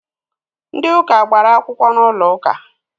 Ndi ụka gbara akwụkwọ n'ụlọ uka